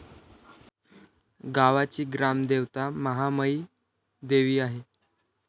गावाची ग्रामदेवता महामाईदेवी आहे.